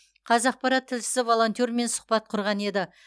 қазақпарат тілшісі волонтермен сұхбат құрған еді